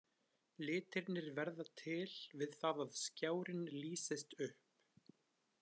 Litirnir verða til við það að skjárinn lýsist upp.